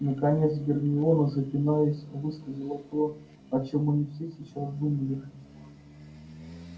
наконец гермиона запинаясь высказала то о чем они все сейчас думали